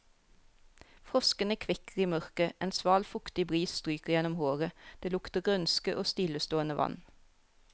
Froskene kvekker i mørket, en sval, fuktig bris stryker gjennom håret, det lukter grønske og stillestående vann.